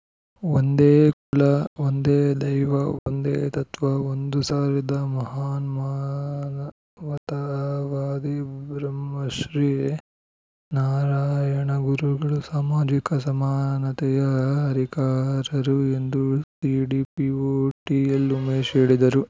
ಒಂದೇ ಕುಲ ಒಂದೇ ದೈವ ಒಂದೇ ತತ್ವ ಒಂದು ಸಾರಿದ ಮಹಾನ್‌ ಮಾನವತಾವಾದಿ ಬ್ರಹ್ಮಶ್ರೀ ನಾರಾಯಣಗುರುಗಳು ಸಾಮಾಜಿಕ ಸಮಾನತೆಯ ಹರಿಕಾರರು ಎಂದು ಸಿಡಿಪಿಒ ಟಿಎಲ್‌ ಉಮೇಶ್‌ ಹೇಳಿದರು